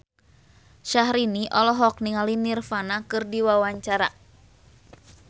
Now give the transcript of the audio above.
Syahrini olohok ningali Nirvana keur diwawancara